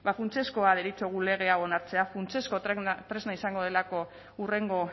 funtsezkoa deritzogu lege hau onartzea funtsezko tresna izango delako hurrengo